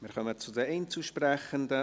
Wir kommen zu den Einzelsprechenden.